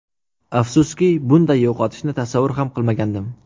Afsuski, bunday yo‘qotishni tasavvur ham qilmagandim.